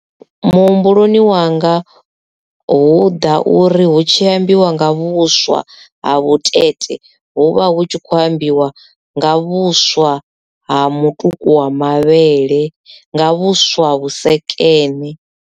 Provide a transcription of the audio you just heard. Muhumbuloni wanga hu ḓa uri hu tshi ambiwa nga vhuswa ha vhutete hu vha hu tshi kho ambiwa nga vhuswa ha mutuku wa mavhele nga vhuswa vhusekene.